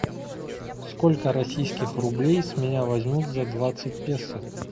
сколько российских рублей с меня возьмут за двадцать песо